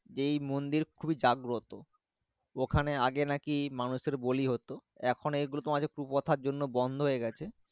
এই মন্দির খুবই জাগ্রত ওখানে আগে নাকি মানুষ এর বিলি হতো। এখন এই গুলো তোমার কুপ্রথা জন্য বন্ধ হয়ে গাছে।